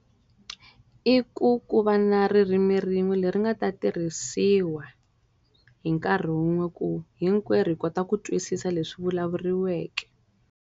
I ku ku va na ririmi rin'we leri nga ta tirhisiwa, hi nkarhi wun'we ku hinkwerhu hi kota ku twisisa leswi vulavuriweke.